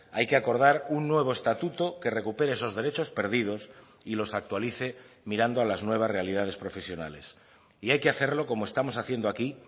hay que acordar un nuevo estatuto que recupere esos derechos perdidos y los actualice mirando a las nuevas realidades profesionales y hay que hacerlo como estamos haciendo aquí